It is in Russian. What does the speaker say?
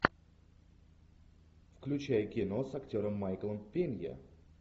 включай кино с актером майклом пенья